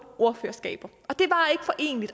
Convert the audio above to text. ordførerskaber